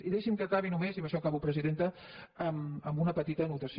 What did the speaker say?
i deixi’m que acabi només i amb això acabo presidenta amb una petita anotació